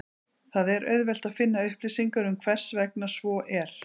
Það er auðvelt að finna upplýsingar um hversvegna svo er.